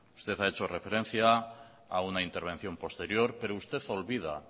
usted ha hecho referencia a una intervención posterior pero usted olvida